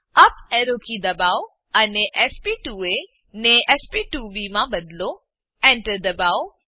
up arrow key દબાવો અને sp2એ ને sp2બી માં બદલો Enter દબાવો